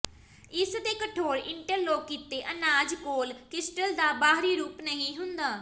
ਇਸ ਦੇ ਕਠੋਰ ਇੰਟਰਲੌਕ ਕੀਤੇ ਅਨਾਜ ਕੋਲ ਕ੍ਰਿਸਟਲ ਦਾ ਬਾਹਰੀ ਰੂਪ ਨਹੀਂ ਹੁੰਦਾ